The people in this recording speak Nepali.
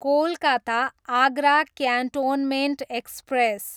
Kolkata, Agra cantonment express